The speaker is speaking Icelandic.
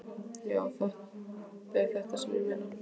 Já, það er þetta sem ég meina!